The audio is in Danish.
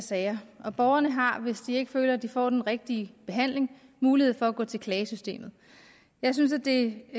sager og borgerne har hvis de ikke føler de får den rigtige behandling mulighed for at gå til klagesystemet jeg synes det